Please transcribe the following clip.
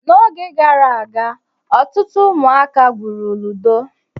N'oge gara aga, otụtụ ụmụaka gwụrụ ludo.